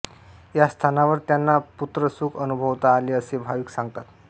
या स्थानावर त्यांना पुत्रसुख अनुभवता आले असे भाविक सांगतात